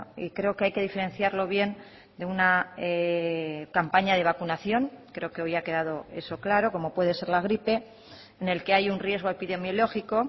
y creo que hay que diferenciarlo bien de una campaña de vacunación creo que hoy ha quedado eso claro como puede ser la gripe en el que hay un riesgo epidemiológico